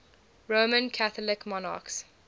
roman catholic monarchs